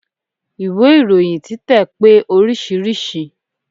Ìwé ìròyin títẹ̀ pé oríṣiríṣi.